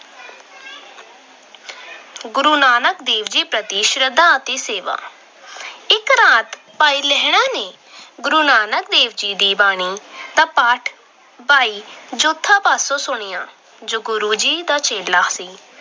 ਗੁਰੂ ਨਾਨਕ ਦੇਵ ਜੀ ਪ੍ਰਤੀ ਸ਼ਰਧਾ ਅਤੇ ਸੇਵਾ- ਇੱਕ ਰਾਤ ਭਾਈ ਲਹਿਣਾ ਜੀ ਨੇ ਗੁਰੂ ਨਾਨਕ ਦੇਵ ਦੀ ਬਾਣੀ ਦਾ ਪਾਠ ਭਾਈ ਜੋਧ ਪਾਸੋਂ ਸੁਣਿਆ ਜੋ ਗੁਰੂ ਜੀ ਦਾ ਚੇਲਾ ਸੀ।